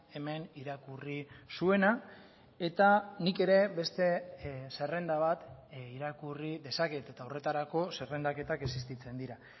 hemen irakurri zuena eta nik ere beste zerrenda bat irakurri dezaket eta horretarako zerrendaketak existitzen dira